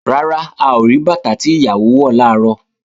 Rárá, a ò rí bàtà tí ìyàwó wọ̀ làárọ̀